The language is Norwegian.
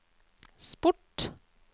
sport